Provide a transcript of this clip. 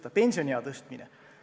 Edasi, pensioniea tõstmine.